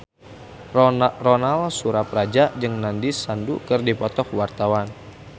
Ronal Surapradja jeung Nandish Sandhu keur dipoto ku wartawan